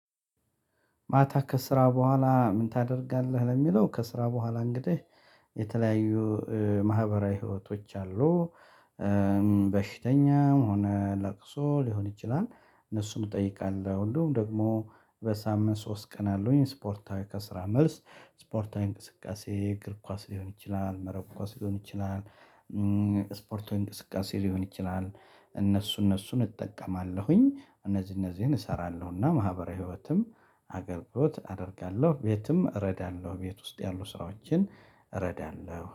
ማታ ከስራ በኋላ "ምን ታደርጋለህ?" ለሚለው፣ ከስራ በኋላ እንግዲህ የተለያዩ ማህበራዊ ሕይወቶች አሉ። በሽተኛም ሆነ ለቅሶ ሊሆን ይችላል፣ እነሱን እጠይቃለሁ፤ እንደውም ደግሞ በሳምንት ሶስት ቀን አለኝ ስፖርታዊ፣ ከስራ መልስ ስፖርታዊ እንቅስቃሴ፤ እግር ኳስ ሊሆን ይችላል፣ መረብ ኳስ ሊሆን ይችላል። ስፖርታዊ እንቅስቃሴ ሊሆን ይችላል፤ እነሱ እነሱን እጠቀማለሁኝ፤ እነዚህ እነዚህን እሠራለሁና ማህበራዊ ህይወትም አገልግሎት አደርጋለሁ፤ ቤትም እረዳለሁ፣ ቤት ውስጥ ያሉ ስራዎችን እረዳለሁ።